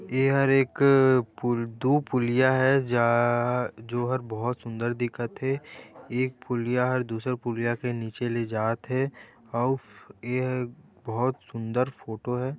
एहर एक दु पुलिया हे जा जोहर बहुत सुंदर दिखत हे एक पुलिया ह दुसर पुलिया के नीचे ले जाथे अऊ एहा बहुत सुंदर फोटो हैं।